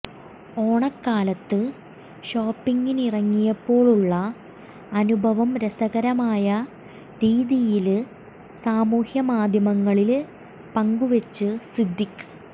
ഓണക്കാലത്ത് ഷോപ്പിങ്ങിനിറങ്ങിയപ്പോഴുള്ള അനുഭവം രസകരമായ രീതിയില് സാമൂഹ്യ മാധ്യമങ്ങളില് പങ്കുവെച്ച് സിദ്ദിഖ്